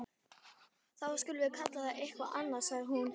Þá skulum við kalla það eitthvað annað sagði hún.